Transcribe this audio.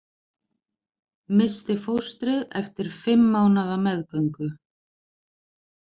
Missti fóstrið eftir fimm mánaða meðgöngu